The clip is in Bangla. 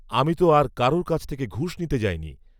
আমি তো আর কারও কাছ থেকে ঘুষ নিতে যাইনি।